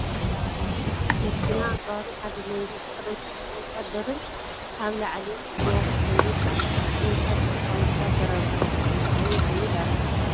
ናይ ሰራዊት መኪና ኣፅዋርን ሓደ ሌንጀር ዝተኸደነ ወታደርን ኣብ ላዕሊ ፅዒና ትኸይድ ኣላ፡፡ እቲ ወታደር ከዓ ወታደራዊ ሰላምታ እንዳሃበ ይኸይድ ኣሎ::